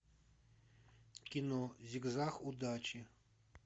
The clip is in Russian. кино зигзаг удачи